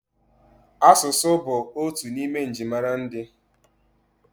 Asụsụ bụ otu n'ime njirimara ndị.